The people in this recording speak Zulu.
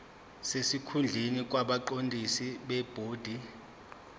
sesikhundleni kwabaqondisi bebhodi